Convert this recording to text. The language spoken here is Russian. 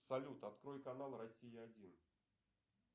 салют открой канал россия один